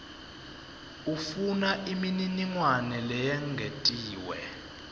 ufuna imininingwane leyengetiwe